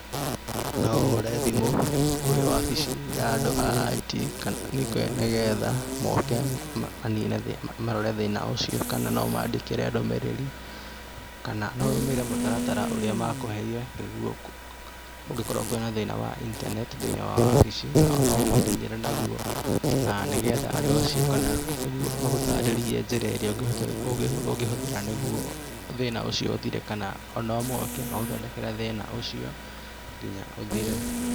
No ũhũre thimũ kwĩ wabici ya andũ a IT nĩgetha moke marore thĩna ũcio kana ũmandĩkĩre ndũmĩrĩri kana ũrũmĩrĩre mũtaratara ũrĩa makũheire kũngĩkorwo kwĩ na thĩna wa intaneti thĩinĩ wa wabici, no ũmakinyĩre naguo, na nĩgetha andũ acio magũtarĩrie njĩra ĩrĩa ũngĩhũthĩra nĩguo thĩna ũcio ũthire kana o moke magũthondekere thĩna ũcio nginya ũthire.